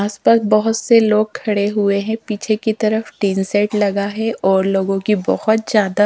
आस पास बहोत से लोग खड़े हुए हैं पीछे की तरफ टीन सेट लगा है और लोगों की बहोत ज्यादा--